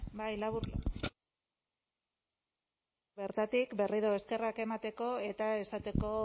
bai labur bertatik berriro eskerrak emateko eta esateko